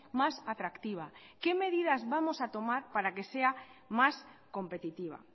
más atractiva qué medidas vamos a tomar para que sea más competitiva